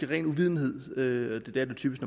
ren uvidenhed hvilket det typisk